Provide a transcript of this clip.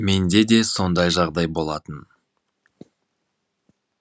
менде де сондай жағдай болатын